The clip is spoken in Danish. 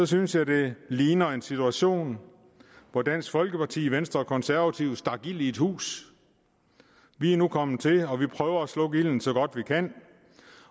synes jeg det ligner en situation hvor dansk folkeparti venstre og konservative stak ild i et hus vi er nu kommet til og vi prøver at slukke ilden så godt vi kan